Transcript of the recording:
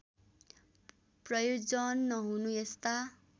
प्रयोजन नहुनु यस्ता